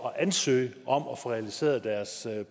at ansøge om at få realiseret deres